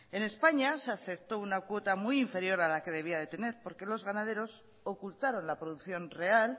en españa se aceptó una cuota muy inferior a la que debía de tener porque los ganadores ocultaron la producción real